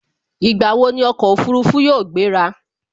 Ìgbà wo ni ọkọ̀ Òfurufú yóò gbera